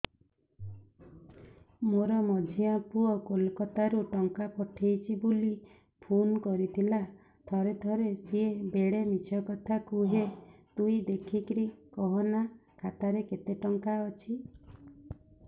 ମୋର ମଝିଆ ପୁଅ କୋଲକତା ରୁ ଟଙ୍କା ପଠେଇଚି ବୁଲି ଫୁନ କରିଥିଲା ଥରେ ଥରେ ସିଏ ବେଡେ ମିଛ କଥା କୁହେ ତୁଇ ଦେଖିକି କହନା ଖାତାରେ କେତ ଟଙ୍କା ଅଛି